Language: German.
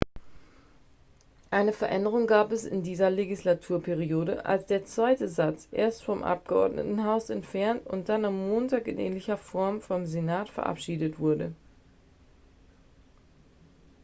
eine veränderung gab es in dieser legislaturperiode als der zweite satz erst vom abgeordnetenhaus entfernt und dann am montag in ähnlicher form vom senat verabschiedet wurde